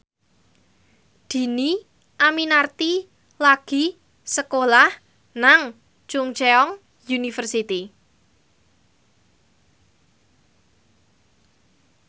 Dhini Aminarti lagi sekolah nang Chungceong University